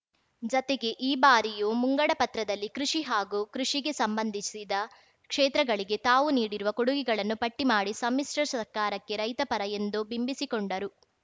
ಜತೆಗೆ ಈ ಬಾರಿಯು ಮುಂಗಡಪತ್ರದಲ್ಲಿ ಕೃಷಿ ಹಾಗೂ ಕೃಷಿಗೆ ಸಂಬಂಧಿಸಿದ ಕ್ಷೇತ್ರಗಳಿಗೆ ತಾವು ನೀಡಿರುವ ಕೊಡುಗೆಗಳನ್ನು ಪಟ್ಟಿಮಾಡಿ ಸಮ್ಮಿಶ್ರ ಸರ್ಕಾರಕ್ಕೆ ರೈತ ಪರ ಎಂದು ಬಿಂಬಿಸಿಕೊಂಡರು